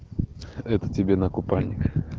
это тебе на купальник